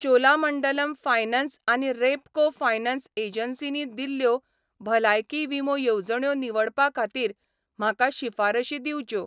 Cholamandalam finance आनी Repco finance एजन्सींनी दिल्ल्यो भलायकी विमो येवजण्यो निवडपा खातीर म्हाका शिफारशी दिंवच्यो.